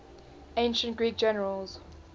ancient greek generals